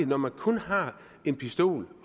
når man kun har en pistol